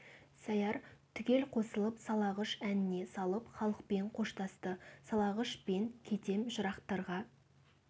сәяр түгел қосылып салағыш әніне салып халықпен қоштасты салағыш мен кетем жырақтарға